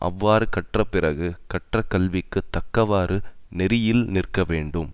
அவ்வாறு கற்ற பிறகு கற்ற கல்விக்கு தக்கவாறு நெறியில் நிற்க வேண்டும்